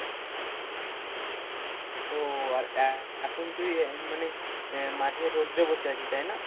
ও আর এখন তুই মানে আহ মাঠে রোদ্রএ বসে আছিস তাই না?